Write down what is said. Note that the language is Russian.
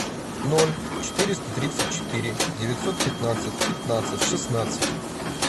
ноль четыреста тридцать четыре девятьсот пятнадцать пятнадцать шестнадцать